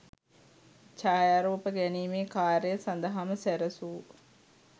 ඡායාරූප ගැනීමේ කාර්ය සඳහාම සැරසූ